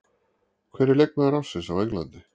Hver er leikmaður ársins á Englandi?